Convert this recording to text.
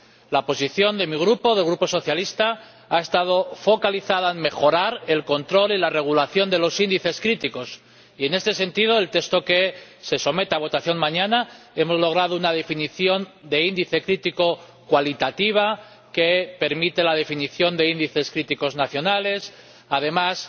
La posición de mi Grupo —del Grupo socialista— ha estado focalizada en mejorar el control y la regulación de los índices críticos y, en este sentido, en el texto que se somete a votación mañana hemos logrado una definición de índice crítico cualitativa que permite la definición de índices críticos nacionales. Asimismo,